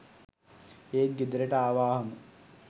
ඒත් ගෙදරට ආවාහම